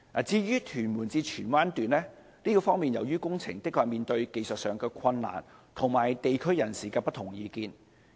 至於屯門至荃灣段的工程，確實面對技術上的困難及地區人士的不同意見。